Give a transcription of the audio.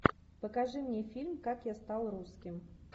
покажи мне фильм как я стал русским